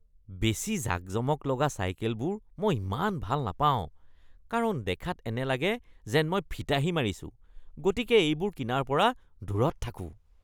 বেছি জাকজমক লগা চাইকেলবোৰ মই ইমান ভাল নাপাওঁ কাৰণ দেখাত এনে লাগে যেন মই ফিতাহি মাৰিছোঁ গতিকে এইবোৰ কিনাৰ পৰা দূৰত থাকোঁ।